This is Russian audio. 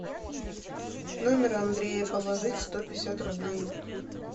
номер андрея положить сто пятьдесят рублей